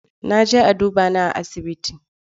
Na je a duba ni a asibiti.